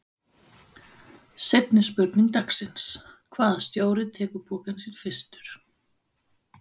Seinni spurning dagsins: Hvaða stjóri tekur pokann sinn fyrstur?